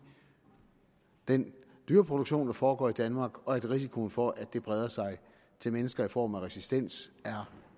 den dyreproduktion der foregår i danmark og at risikoen for at det breder sig til mennesker i form af resistens er